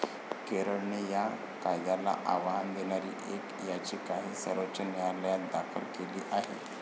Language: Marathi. केरळने या कायद्याला आव्हान देणारी एक याचिकाही सर्वोच्च न्यायालयात दाखल केली आहे.